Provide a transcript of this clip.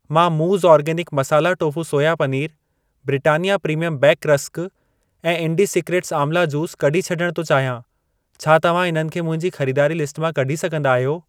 मां मूज़ organic masala tofu soya पनीरु, ब्रिटानिया प्रीमियम बेक रस्क ऐं इन्डिसिक्रेट्स आमला जूस कढी छॾण थो चाहियां। छा तव्हां इन्हनि खे मुंहिंजी खरीदारी लिस्ट मां कढी सघंदा आहियो?